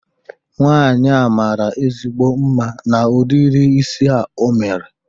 Nwaanyi a mara ezigbo mma n'udiri isi a o mere